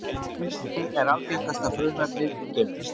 Vetni er algengasta frumefnið í geimnum.